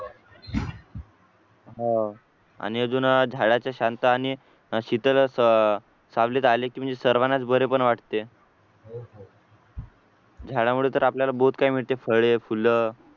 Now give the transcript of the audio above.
आणि अजून झाडाची शांत आणि शितल सावलीत आले की म्हणजे सर्वांनाच बरे पण वाटते झाडामुळे तर आपल्याला बहुत काय मिळते फळे फुले